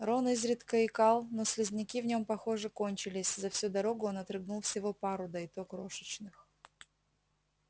рон изредка икал но слизняки в нём похоже кончились за всю дорогу он отрыгнул всего пару да и то крошечных